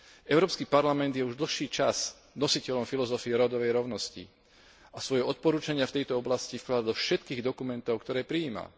Európsky parlament je už dlhší čas nositeľom filozofie rodovej rovnosti a svoje odporúčania v tejto oblasti vkladá do všetkých dokumentov, ktoré prijíma.